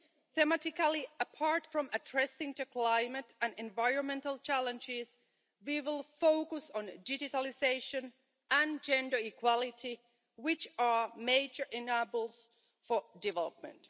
Thematically, apart from addressing the climate and environmental challenges, we will focus on digitalisation and gender equality, which are major enablers for development.